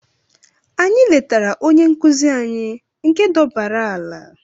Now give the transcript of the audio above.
Anyị letara onye nkụzi anyị nke dọbaara ala.